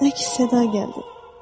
Əks-səda gəldi.